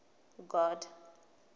god